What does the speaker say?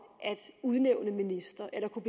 at udnævne ministre eller kunne